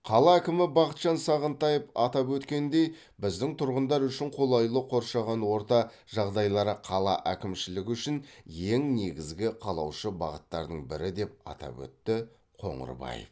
қала әкімі бақытжан сағынтаев атап өткендей біздің тұрғындар үшін қолайлы қоршаған орта жағдайлары қала әкімшілігі үшін ең негізгі қалаушы бағыттардың бірі деп атап өтті қоңырбаев